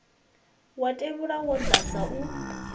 wa tevhula wo dadza u